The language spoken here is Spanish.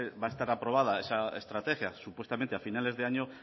va estar aprobada esa estrategia supuestamente a finales de año